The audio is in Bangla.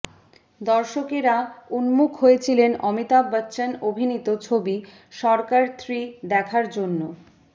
দর্শকেরা উন্মুখ হয়েছিলেন অমিতাভ বচ্চন অভিনীত ছবি সরকার থ্রি দেখার জন্য